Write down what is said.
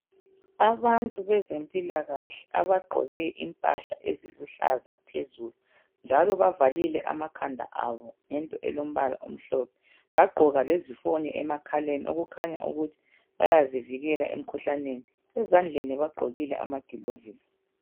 Abantu bezempilakahle abagqoke Impahla eziluhlaza phezulu. Njalo bavalile amakhanda abo ngento elombala omhlophe ,bagqoka lezifonyo emakhaleni okukhanya ukuthi bayazivikela emkhuhlaneni. ezandleni bagqokile amagilovisi.